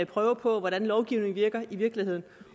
prøve på hvordan lovgivningen virker i virkeligheden